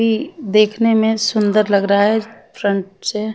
ई देखने मे सुंदर लग रहा है फ्रन्ट से।